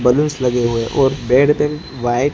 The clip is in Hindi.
बलूंस लगे हुए और व्हाइट --